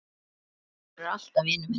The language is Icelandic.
Þú verður alltaf vinur minn.